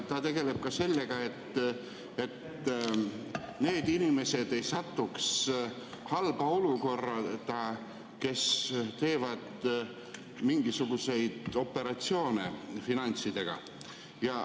Ta tegeleb sellega, et need inimesed, kes teevad mingisuguseid finantsoperatsioone, ei satuks halba olukorda.